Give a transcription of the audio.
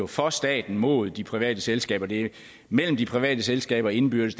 for staten imod de private selskaber det er mellem de private selskaber indbyrdes